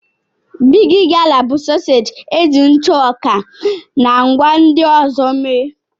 Bigi gala bụ sọseeji eji ntụ ọka na ngwá ndị ọzọ mee.